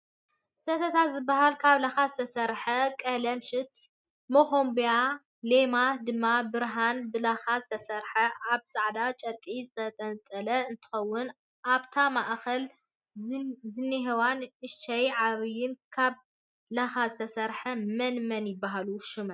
ሰተታ ዝብሃል ካብ ላካ ዝተሰረሓን ቀለምሽሽን መኮንብያን ለማትን ድማ ብሃርን ብላካን ዝተሰረሐ ኣብ ፃዕዳ ጨርቂ ዝተጠንጠለ እንትከውን ኣብታ ማእከል ዝንሄዋ ንእሽተይን ዓባይን ካብ ላካን ዝተሰርሓ መን መን ይብሃላ ሹመን?